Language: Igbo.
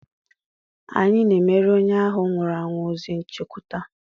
Anyị na-emere onye ahụ nwụrụ anwụ ozi nchekwute.